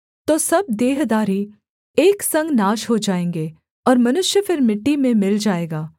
तो सब देहधारी एक संग नाश हो जाएँगे और मनुष्य फिर मिट्टी में मिल जाएगा